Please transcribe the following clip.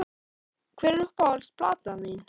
Hver er uppáhalds platan þín?